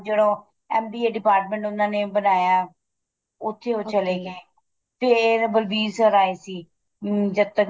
ਉਹ ਜਿਹੜਾ MBA department ਉਹਨਾ ਨੇ ਬਣਾਇਆ ਉੱਥੇ ਉਹ ਚਲੇ ਗਏ ਫੇਰ ਬਲਬੀਰ sir ਆਏ ਸੀ ਅਮ ਜਦ ਤੱਕ